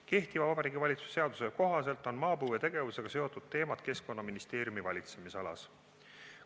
Kehtiva Vabariigi Valitsuse seaduse kohaselt on maapõuetegevusega seotud teemad Keskkonnaministeeriumi valitsemisalas.